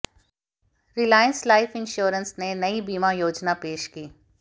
Reliance life insurance ने नई बीमा योजना पेश की